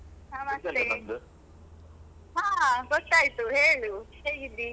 ನಮಸ್ಥೆ ಹಾ ಗೊತ್ತಾಯ್ತು, ಹೇಳು, ಹೇಗಿದ್ದೀ?